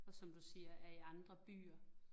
Og som du siger er i andre byer